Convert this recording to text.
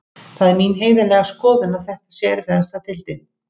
Það er mín heiðarlega skoðun að þetta sé erfiðasta deildin.